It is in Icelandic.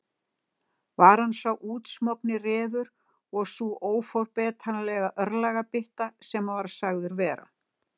Var hann sá útsmogni refur og sú óforbetranlega örlagabytta sem hann var sagður vera?